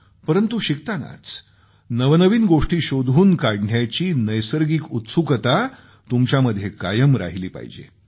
परंतु शिकतानाच नवनवीन गोष्टी शोधून काढण्याची नैसर्गिक उत्सुकता तुमच्यामध्ये कायम राहिली पाहिजे